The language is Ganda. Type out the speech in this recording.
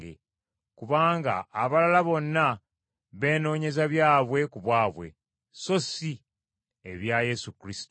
kubanga abalala bonna beenoonyeza byabwe ku bwabwe, so si ebya Yesu Kristo.